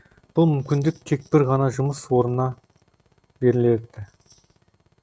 бұл мүмкіндік тек бір ғана жұмыс орнынан беріледі